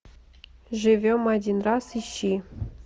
живем один раз ищи